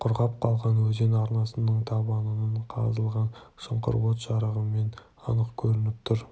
құрғап қалған өзен арнасының табанынан қазылған шұңқыр от жарығымен анық көрініп тұр